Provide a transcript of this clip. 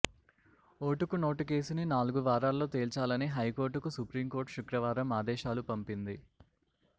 ఓటుకు note case ని నాలుగు వారాల్లో తేల్చాలని హైకోర్టు కు సుప్రీం కోర్టు శుక్రవారం ఆదేశాలు పంపింది